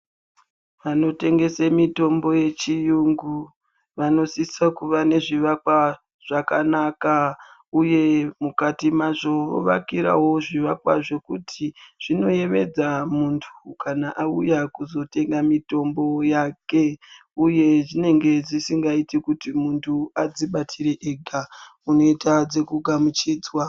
Vanotengesa mitombo yechiyungu vanosise kuva nezvivakwa zvakanaka uye mukati mazvo vakirawo zvivakwa zvekuti zvinoyevedza muntu kana auya kuzotenga mutombo yake uye zvinenge zvisingaiti kuti muntu adzibatire ega unoita dzekugamuchidzwa .